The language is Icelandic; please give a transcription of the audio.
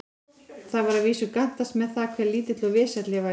Það var að vísu gantast með það, hve lítill og vesæll ég væri.